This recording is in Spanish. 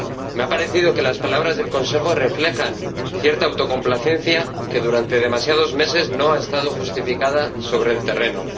Me ha parecido que las palabras del Consejo reflejan cierta autocomplacencia que durante demasiados meses no ha estado justificada sobre el terreno.